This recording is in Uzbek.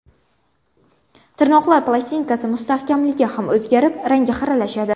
Tirnoqlar plastinkasi mustahkamligi ham o‘zgarib, rangi xiralashadi.